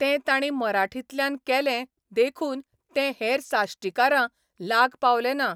तें तांणी मराठींतल्यान केलें देखून तें हेर साश्टीकारां लाग पावलें ना?